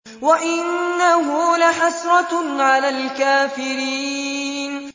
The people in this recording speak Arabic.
وَإِنَّهُ لَحَسْرَةٌ عَلَى الْكَافِرِينَ